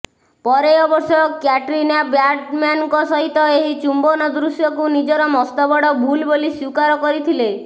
ପରେ ଅବଶ୍ୟ କ୍ୟାଟ୍ରିନା ବ୍ୟାଡମ୍ୟାନଙ୍କ ସହିତ ଏହି ଚୁମ୍ବନ ଦୃଶ୍ୟକୁ ନିଜର ମସ୍ତବଡ ଭୁଲ୍ ବୋଲି ସ୍ୱୀକାର କରିଥିଲେ